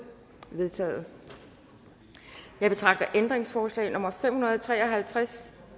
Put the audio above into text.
vedtaget jeg betragter ændringsforslag nummer fem hundrede og tre og halvtreds